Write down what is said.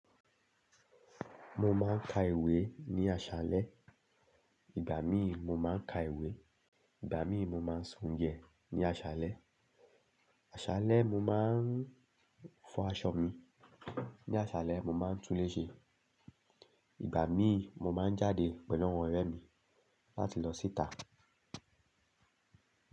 Mo máa ń ka ìwé ní aṣálẹ́. Ìgbà míì mo máa ń ka ìwé. Ìgbà míì mo máa ń se oúnjẹ ní aṣálẹ́. Aṣálẹ́ mo máa ń fọ aṣọ mi. Ni aṣálẹ́ mo máa ń túnléṣe. Ìgbà míì mo máa ń jáde pẹ̀lú àwọn ọ̀rẹ́ mi láti lọ síta.